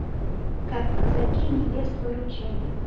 как казаки невест выручали